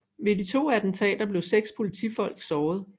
Ved de to attentater blev seks politifolk såret